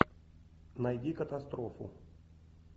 найди катастрофу